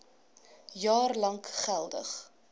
jaar lank geldig